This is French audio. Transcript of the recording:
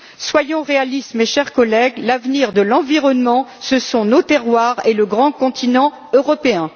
Soyons réalistes, mes chers collègues, l'avenir de l'environnement, ce sont nos terroirs et le grand continent européen.